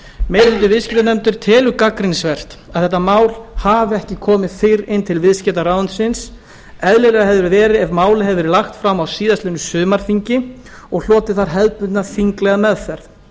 meiri hluti viðskiptanefndar telur gagnrýnivert að þetta mál hafi ekki komið fyrr inn til viðskiptaráðuneytisins eðlilegra hefði verið ef málið hefði verið lagt fram á síðastliðnu sumarþingi og hlotið þar hefðbundna þinglega meðferð